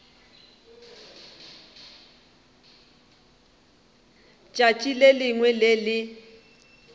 tšatši le lengwe le le